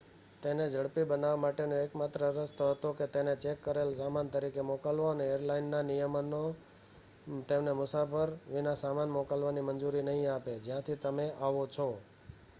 તેને ઝડપી બનાવવા માટેનો એકમાત્ર રસ્તો હતો કે તેને ચેક કરેલા સામાન તરીકે મોકલવો એરલાઇનના નિયમો તેમને મુસાફર વિના સામાન મોકલવાની મંજૂરી નહીં આપે જ્યાંથી તમે આવો છો